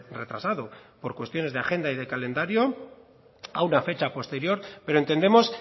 retrasado por cuestiones de agenda y de calendario a una fecha posterior pero entendemos